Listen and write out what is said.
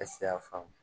faamu